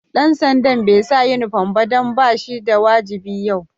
Dan sanda'n bai sa uniform ba dan ba shi da wajibi yau.